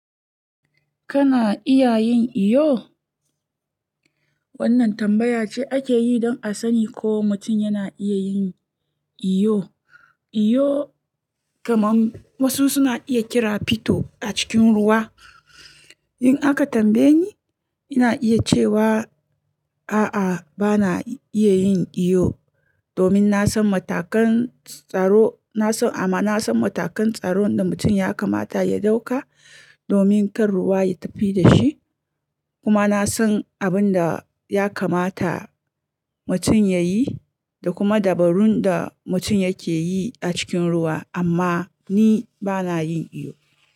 Kana iya yin iyo? Wannan tambaya ce ake yi don a sani ko mutum yana iya yin iyo. Iyo kamar wasu suna iya kira "Fito a cikin ruwa". In aka tambaye ni, ina iya cewa, a'a, bana iya yin iyo domin na san matakan tsaro, na san amma na san matakan tsaro da mutum ya kamata ya ɗauka domin kar ruwa ya tafi da shi, kuma na san abin da ya kamata mutum ya yi da kuma dabarun da mutum yake yi a cikin ruwa. Amma ni bana yin iyo.